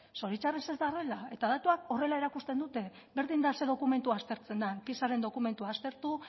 zoritxarrez ez da horrela eta datuak horrela erakusten dute berdin da zein dokumentu aspertzen den pisaren dokumentu aztertu